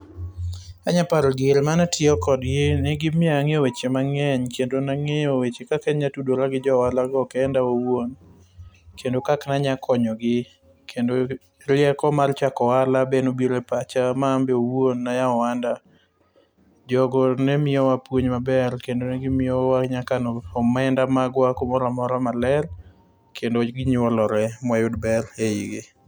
Anyalo paro diere mane atiyo kodgi, ne gimiyo ang'eyo weche mang'eny kendo nang'eyo weche kaka anyalo tudora gi jo ohalago kenda awuon kendo kaka na nyalo konyogi. Kendo rieko mar chako ohala be nobiro e pacha ma an be owuon ne ayawo ohanda. Jogo ne miyowa puonj maber kendo negimiyowa nyaka omenda magwa kumoro amora maler, kendo ginyuolore moyud ber eigi.